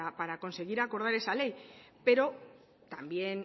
para conseguir acordar esa ley pero también